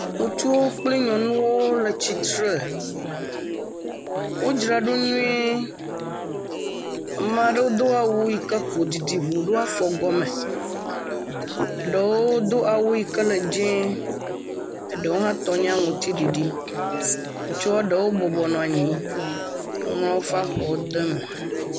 Ŋutsuwo kple nyɔnuwo le tsitre. Wodzra ɖo nyuie. Ame aɖewo do awu yi ke ƒo didi ŋuu ɖo afɔ gɔme. Ɖewo do awu yi ke le dzẽee. Eɖewo hã tɔ nye aŋutiɖiɖi, ŋutsua ɖewo bɔbɔ nɔ anyi ŋlɔ woƒe afɔwo de eme.